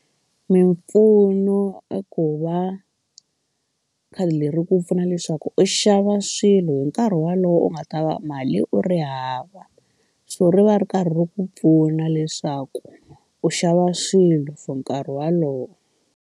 Mimpfuno i ku va khadi leri ku pfuna leswaku u xava swilo hi nkarhi wolowo u nga ta va mali u ri hava so ri va ri karhi ri ku pfuna leswaku u xava swilo for nkarhi walowo.